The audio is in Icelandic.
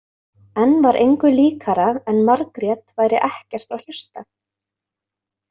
Enn var engu líkara en Margrét væri ekkert að hlusta.